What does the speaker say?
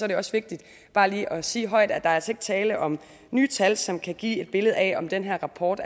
det også vigtigt bare lige at sige højt at der er tale om nye tal som kan give et billede af om den her rapport